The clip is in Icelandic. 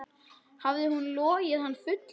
Hafði hún logið hann fullan?